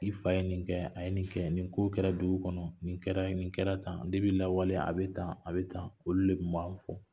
I fa ye nin kɛ a ye nin kɛ nin ko kɛra dugu kɔnɔ nin kɛra nin kɛra tan de depi lawale a bɛ tan a bɛ tan olu de tun b'an fɔ